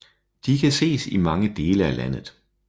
De kan ses i mange dele af landet